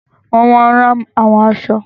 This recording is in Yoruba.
Wọ́n máa n rán àwọn aṣọ